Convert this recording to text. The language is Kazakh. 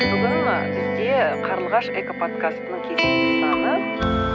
бүгін ы бізде қарлығаш экоподскастының кезекті саны